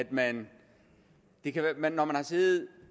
man man har siddet